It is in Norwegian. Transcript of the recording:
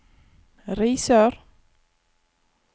Risør